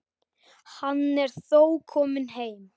Hann er þó kominn heim.